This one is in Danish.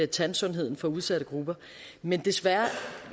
tandsundheden for udsatte grupper men desværre